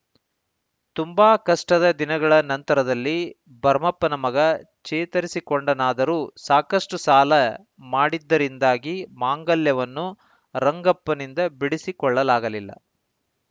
ತುಂಬಾ ಕಷ್ಟದ ದಿನಗಳ ನಂತರದಲ್ಲಿ ಭರಮಪ್ಪನ ಮಗ ಚೇತರಿಸಿಕೊಂಡನಾದರೂ ಸಾಕಷ್ಟುಸಾಲ ಮಾಡಿದ್ದರಿಂದಾಗಿ ಮಾಂಗಲ್ಯವನ್ನು ರಂಗಪ್ಪನಿಂದ ಬಿಡಿಸಿಕೊಳ್ಳಲಾಗಲಿಲ್ಲ